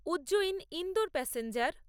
Ujjain Indore passenger